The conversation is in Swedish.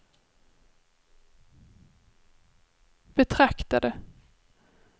betraktade